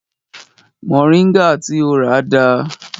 Moringa ti o rà dà?